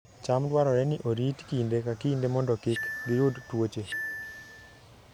cham dwarore ni orit kinde ka kinde mondo kik giyudi tuoche